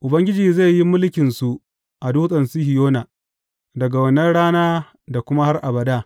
Ubangiji zai yi mulkinsu a Dutsen Sihiyona daga wannan rana da kuma har abada.